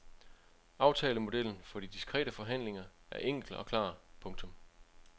Aftalemodellen for de diskrete forhandlinger er enkel og klar. punktum